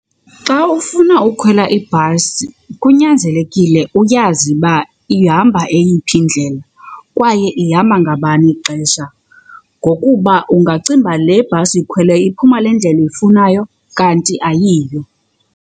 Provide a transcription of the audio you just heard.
Xa ufuna ukhwela ibhasi kunyanzelekile uyazi uba ihamba eyiphi indlela kwaye ihamba ngabani ixesha ngokuba ungacinga uba le bhasi uyikhweleyo iphuma le ndlela uyifunayo kanti ayiyo.